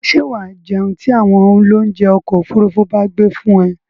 Ṣé wà á jẹun tí àwọn oloúnjẹ́ ọkọ-òfurufú bá gbé fún ẹ?